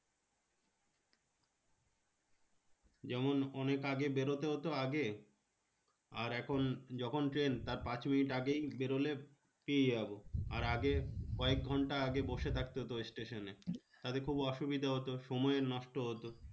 যেমন অনেক আগে বেরোতে হতো আগে। আর এখন যখন ট্রেন তার পাঁচ মিনিট আগেই বেরোলে পেয়ে যাবো। আর আগে কয়েক ঘন্টা আগে বসে থাকতে হতো station এ। তাতে খুব অসুবিধা হতো। সময়ের নষ্ট হতো।